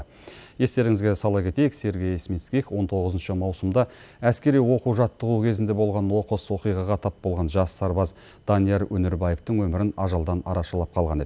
естеріңізге сала кетейік сергей смитских он тоғызыншы маусымда әскери оқу жаттығу кезінде болған оқыс оқиғаға тап болған жас сарбаз данияр өнербаевтың өмірін ажалдан арашалап қалған еді